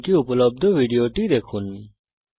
এই url এ উপলব্ধ ভিডিওটি দেখুন